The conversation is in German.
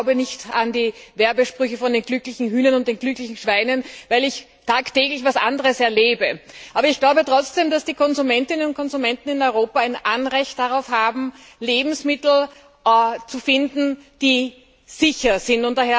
ich glaube nicht an die Werbesprüche von den glücklichen Hühnern und den glücklichen Schweinen, weil ich tagtäglich etwas anderes erlebe. Aber ich glaube trotzdem, dass die Verbraucherinnen und Verbraucher in Europa ein Anrecht darauf haben, Lebensmittel vorzufinden, die sicher sind.